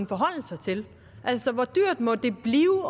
forholde sig til altså hvor dyrt må det blive